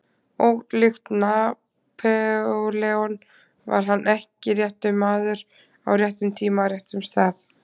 Ólíkt Napóleon var hann ekki réttur maður, á réttum tíma, á réttum stað.